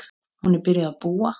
Hún er byrjuð að búa!